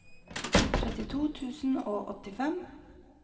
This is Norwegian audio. trettito tusen og åttifem